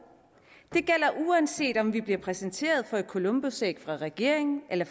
det gælder uanset om vi bliver præsenteret for et columbusæg af regeringen eller